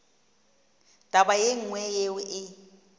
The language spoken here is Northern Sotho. taba ye nngwe yeo e